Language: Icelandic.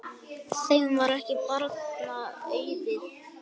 Þeim var ekki barna auðið.